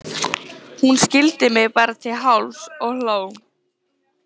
Hún skildi mig bara til hálfs og hló.